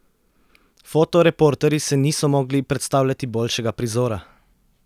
Fotoreporterji si niso mogli predstavljati boljšega prizora!